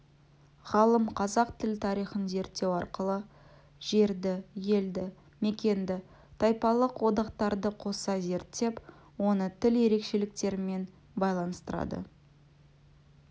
ғалым қазақ тілі тарихын зерттеу арқылы жерді елді мекенді тайпалық одақтарды қоса зерттеп оны тіл ерекшеліктерімен байланыстырады